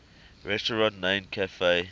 restaurant named cafe